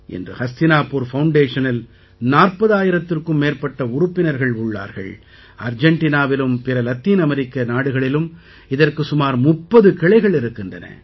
இன்று ஹஸ்தினாபூர் ஃபவுண்டேஷனில் 40000த்திற்கும் மேற்பட்ட உறுப்பினர்கள் உள்ளார்கள் அர்ஜெண்டினாவிலும் பிற லத்தீன் அமெரிக்க நாடுகளிலும் இதற்கு சுமார் 30 கிளைகள் இருக்கின்றன